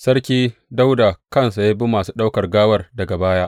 Sarki Dawuda kansa ya bi masu ɗauke da gawar daga baya.